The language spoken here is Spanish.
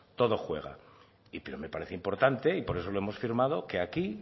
todo juega pero me parece importante y por eso lo hemos firmado que aquí